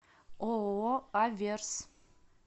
ооо аверс